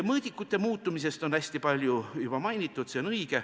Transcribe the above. Mõõdikute muutumist on hästi palju juba mainitud ja see on õige.